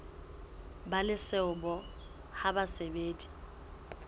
ba le seabo ha basadi